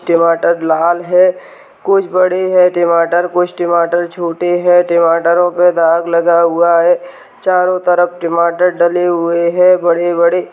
टमाटर लाल हैं कुछ बड़े हैं टमाटर कुछ टमाटर छोटे हैं टमाटरों पर दाग लगा हुआ है चारो तरफ टमाटर डले हुए हैं बड़े-बड़े।